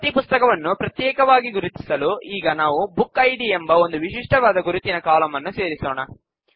ಪ್ರತೀ ಪುಸ್ತಕವನ್ನು ಪ್ರತ್ಯೇಕವಾಗಿ ಗುರುತಿಸಲು ಈಗ ನಾವು ಬುಕ್ ಐಡಿ ಎಂಬ ಒಂದು ವಿಶಿಷ್ಟವಾದ ಗುರುತಿನ ಕಾಲಂನ್ನು ಸೇರಿಸೋಣ